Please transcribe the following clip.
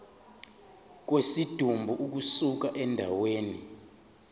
kwesidumbu ukusuka endaweni